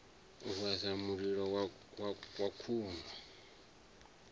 u vhasa mililo wa khuni